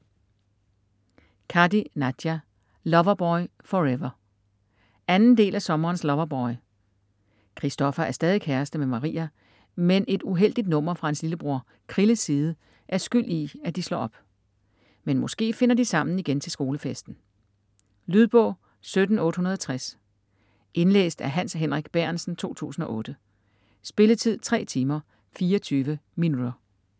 Kadi, Nadia: Loverboy forever 2. del af Sommerens loverboy. Christoffer er stadig kæreste med Maria, men et uheldigt nummer fra hans lillebror Krilles side er skyld i at de slår op. Men måske finder de sammen igen til skolefesten? Lydbog 17860 Indlæst af Hans Henrik Bærentsen, 2008. Spilletid: 3 timer, 24 minutter.